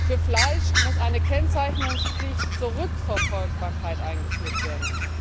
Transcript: Für Fleisch muss eine Kennzeichnungspflicht zur Rückverfolgbarkeit eingeführt werden.